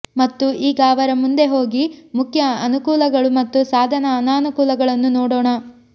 ಮತ್ತು ಈಗ ಅವರ ಮುಂದೆ ಹೋಗಿ ಮುಖ್ಯ ಅನುಕೂಲಗಳು ಮತ್ತು ಸಾಧನ ಅನಾನುಕೂಲಗಳನ್ನು ನೋಡೋಣ